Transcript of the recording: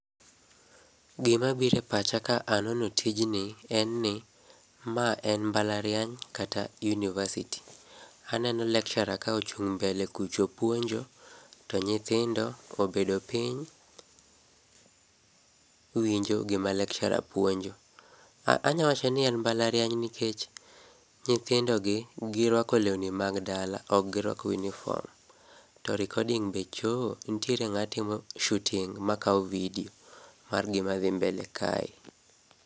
Gima bire pacha ka anono tijni en ni ma en mbalariany kata university. Aneno lecturer ka ochung' mbele kucho puonjo to nyithindo obedo piny winjo gima lecturer puonjo . Anya wacho ni ma en mbalariany nikech nyithindo gi girwako lewni mag dala ok girwako uniform. To recording be choo nitiere ng'ama timo shooting ma kawo video mar gima dhi mbele kae.